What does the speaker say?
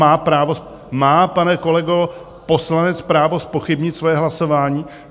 Má, pane kolego, poslanec právo zpochybnit svoje hlasování?